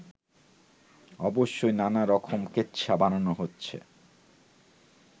অবশ্য নানারকম কেচ্ছা বানানো হচ্ছে